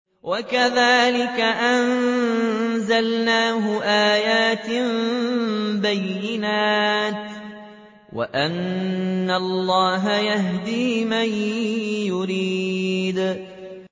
وَكَذَٰلِكَ أَنزَلْنَاهُ آيَاتٍ بَيِّنَاتٍ وَأَنَّ اللَّهَ يَهْدِي مَن يُرِيدُ